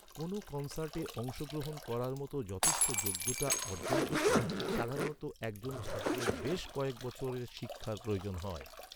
কোনও কন্‌সার্টে অংশগ্রহণ করার মতো যথেষ্ট যোগ্যতা অর্জন করতে সাধারণত একজন ছাত্রের বেশ কয়েক বছরের শিক্ষার প্রয়োজন হয়।